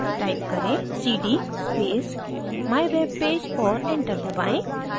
type करें: cd space mywebpage और enter दबाएँ